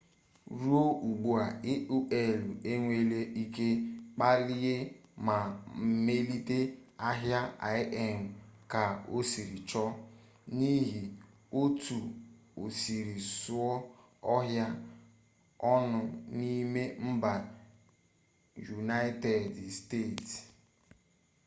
ruo ugbua aol enweele ike kpalie ma melite ahịa im ka osiri chọ n'ihi otu osiri zuo ọha onụ n'ime mba yunaịted steeti